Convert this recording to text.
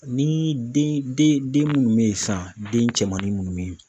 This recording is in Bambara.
Ni den den mun be yen san den cɛmannun munnu be yen